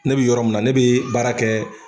Ne bɛ yɔrɔ min na, ne bɛ baara kɛ